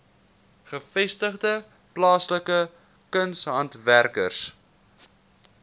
gevestigde plaaslike kunshandwerkers